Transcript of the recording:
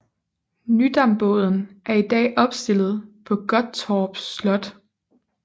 Nydambåden er i dag opstillet på Gottorp Slot